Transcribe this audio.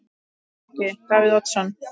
Breki: Davíð Oddsson?